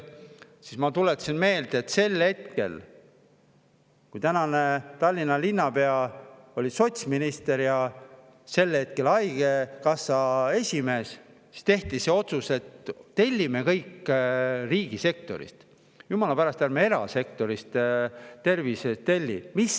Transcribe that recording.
Siis ma tuletasin meelde, et sel hetkel, kui Tallinna praegune linnapea oli sotsminister ja sel hetkel haigekassa esimees, siis tehti see otsus, et tellime kõik riigisektorist, jumala pärast, ärme erasektorist tervis midagi telli.